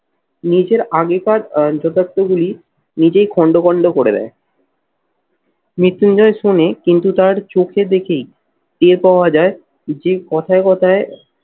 নিজের আগেকার যথার্থ গুলি নিজেই খন্ড খন্ড করে দেয় মৃত্যুঞ্জয় শোনে কিন্তু তার চোখে দেখেই টের পাওয়া যায় যে কথায় কথায়